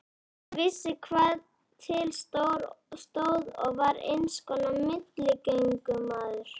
Hann vissi hvað til stóð og var einskonar milligöngumaður.